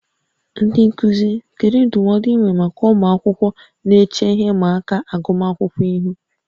Ndị nkuzi, kedu ndụmọdụ ị nwere maka ụmụ akwụkwọ na-eche ihe ịma aka agụmakwụkwọ ihu?